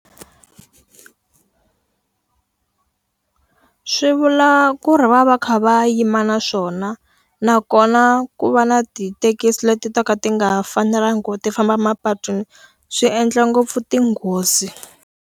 Swi vula ku ri va va va kha va yima na swona. Nakona ku va na tithekisi leti to ka ti nga fanelanga ku ti famba mapatwini, swi endla ngopfu tinghozi.